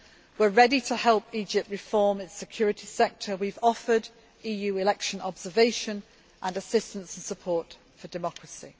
We are ready to help Egypt reform its security sector, and we have offered EU election observation and assistance and support for democracy.